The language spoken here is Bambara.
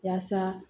Yaasa